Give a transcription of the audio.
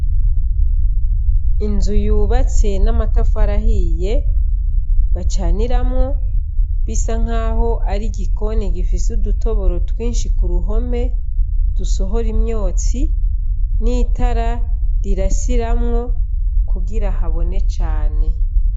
Inzu yubatse n' amatafari ahiye bacaniramwo bisa nkaho ari igikoni gifise udutoboro twinshi ku ruhome dusohora imyotsi n' itara rirasiramwo kugira habone cane.